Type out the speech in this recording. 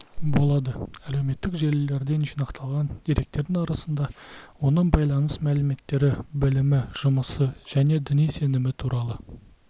болады әлеуметтік желілерден жинақталған деректердің арасында оның байланыс мәліметтері білімі жұмысы және діни сенімі туралы